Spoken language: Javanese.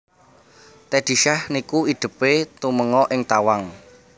Teddy Syah niku idep e tumenga ing tawang